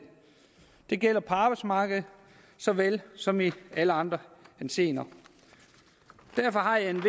det gælder på arbejdsmarkedet såvel som i alle andre henseender derfor har jeg et